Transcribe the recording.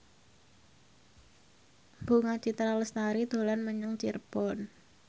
Bunga Citra Lestari dolan menyang Cirebon